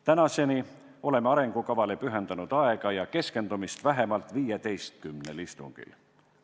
Tänaseni oleme arengukavale pühendanud aega ja keskendumist vähemalt 15 istungil.